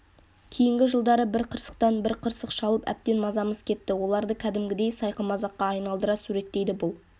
кейінгі жылдары бір қырсықтан бір қырсық шалып әбден мазамыз кетті оларды кәдімгідей сайқымазаққа айналдыра суреттейді бұл